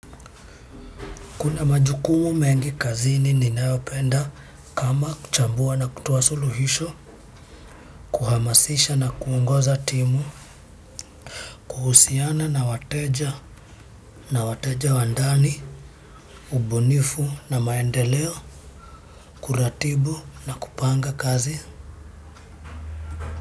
Kuna majukumu mengi kazini ninayopenda kama kuchambua na kutoa suluhisho, kuhamasisha na kuongoza timu, kuhusiana na wateja na wateja wa ndani, ubunifu na maendeleo, kuratibu na kupanga kazi.